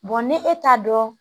ni e t'a dɔn